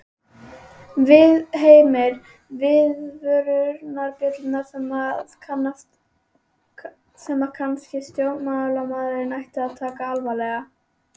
Heimir: Viðvörunarbjöllur sem að kannski stjórnmálamaður ætti að taka alvarlega?